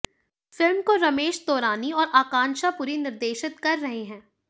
film को रमेश तौरानी और आकांक्षा पुरी निर्देशित कर रहे हैं